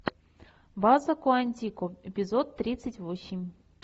база куантико эпизод тридцать восемь